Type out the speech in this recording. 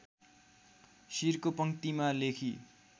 शिरको पंक्तिमा लेखी